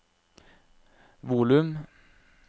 volum